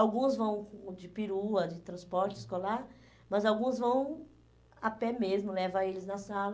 Alguns vão de perua, de transporte escolar, mas alguns vão a pé mesmo, levam eles na sala.